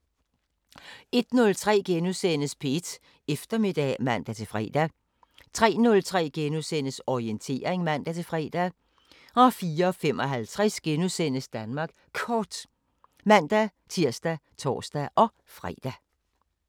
01:03: P1 Eftermiddag *(man-fre) 03:03: Orientering *(man-fre) 04:55: Danmark Kort *(man-tir og tor-fre)